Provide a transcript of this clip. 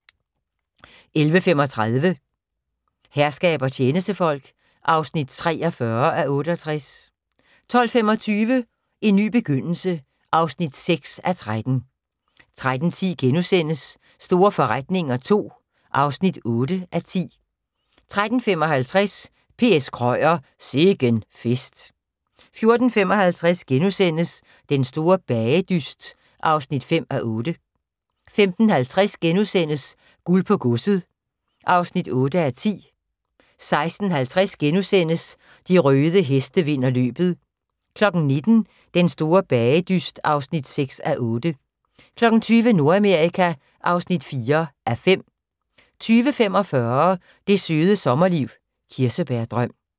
11:35: Herskab og tjenestefolk (43:68) 12:25: En ny begyndelse (6:13) 13:10: Store forretninger II (8:10)* 13:55: P.S. Krøyer – Sikken fest 14:50: Den store bagedyst (5:8)* 15:50: Guld på godset (8:10)* 16:50: De røde heste vinder løbet * 19:00: Den store bagedyst (6:8) 20:00: Nordamerika (4:5) 20:45: Det Søde Sommerliv – Kirsebærdrøm